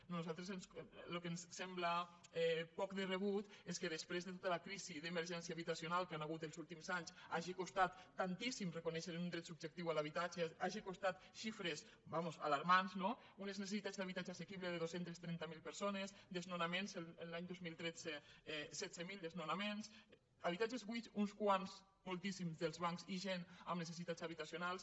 a nosaltres el que ens sembla poc de rebut és que des·prés de tota la crisi d’emergència habitacional que hi ha hagut els últims anys hagi costat tantíssim reco·nèixer un dret subjectiu a l’habitatge hagi costat xifres alarmants no unes necessitats d’habitatge assequible de dos cents i trenta miler persones desnonaments l’any dos mil tretze setze mil desnonaments habitatges buits uns quants mol·tíssims dels bancs i gent amb necessitats habitacio·nals